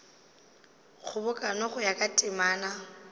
kgobokano go ya ka temana